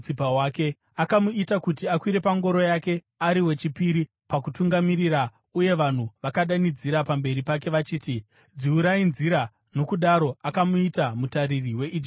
Akamuita kuti akwire pangoro yake ari wechipiri pakutungamirira, uye vanhu vakadanidzira pamberi pake vachiti, “Dziurai nzira!” Nokudaro akamuita mutariri weIjipiti yose.